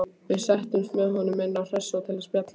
Við settumst með honum inn á Hressó til að spjalla.